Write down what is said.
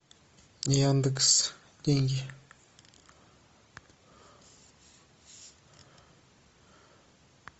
яндекс деньги